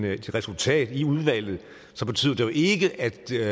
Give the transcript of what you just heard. et resultat i udvalget betyder det jo ikke at der